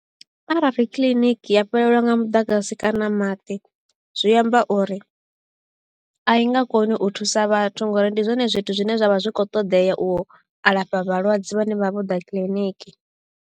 Arali kiḽiniki ya fhelelwa nga muḓagasi kana maḓi zwi amba uri a i nga koni u thusa vhathu nga uri ndi zwone zwithu zwine zwavha zwi kho ṱoḓea u alafha vhalwadze vhane vha vha vho ḓa kiḽiniki.